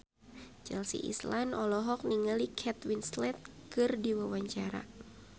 Chelsea Islan olohok ningali Kate Winslet keur diwawancara